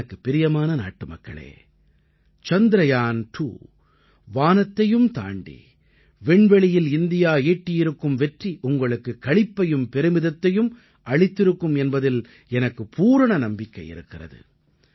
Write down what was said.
எனக்குப் பிரியமான நாட்டுமக்களே சந்திரயான் 2 வானத்தையும் தாண்டி விண்வெளியில் இந்தியா ஈட்டியிருக்கும் வெற்றி உங்களுக்குக் களிப்பையும் பெருமிதத்தையும் அளித்திருக்கும் என்பதில் எனக்குப் பூரண நம்பிக்கை இருக்கிறது